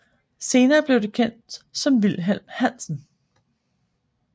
Senere blev det kendt som Wilhelm Hansen